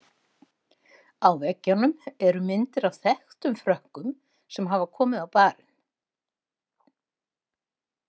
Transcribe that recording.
Á veggjunum eru myndir af þekktum Frökkum sem hafa komið á barinn.